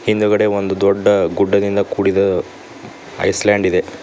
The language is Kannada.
ಹಿಂದಗಡೆ ಒಂದು ದೊಡ್ಡ ಗುಡ್ಡದಿಂದ ಕೂಡಿದ ಐಸ್ಲ್ಯಾಂಡ್ ಇದೆ.